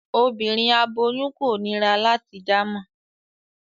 Obinrin aboyun ko nira lati damọ